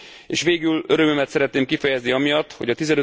És végül örömömet szeretném kifejezni amiatt, hogy a